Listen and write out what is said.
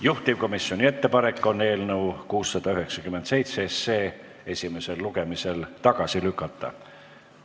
Juhtivkomisjoni ettepanek on eelnõu 697 esimesel lugemisel tagasi lükata.